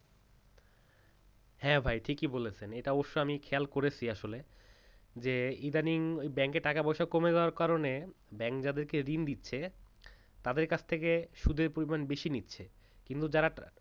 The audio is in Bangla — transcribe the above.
হ্যাঁ ভাই ঠিকই বলেছেন এটা অবশ্য আমি খেয়াল করেছি আসলে যে ইদানিং bank টাকা পয়সা কমে যাওয়ার কারণে bank যাদেরকে ঋণ দিচ্ছে তাদের কাছ থেকে সুদের পরিমাণ বেশি নিচ্ছে কিন্তু যারা